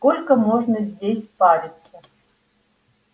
сколько можно здесь париться